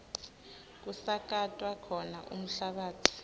kusakatwa khona umhlabatsi